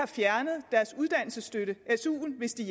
fjernet deres uddannelsesstøtte su’en hvis de